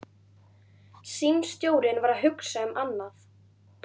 Símstjórinn var að hugsa um annað.